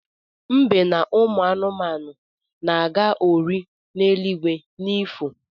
Mbe na ụmụanụ na-aga ori n’eluigwe n’ifo